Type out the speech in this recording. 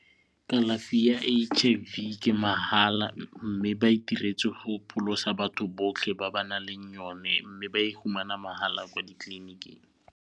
Kalafi ya H_I_V ke mahala mme ba e diretse go pholosa batho botlhe ba ba nang le yone mme ba iphumana mahala kwa ditleliniking.